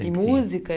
E música?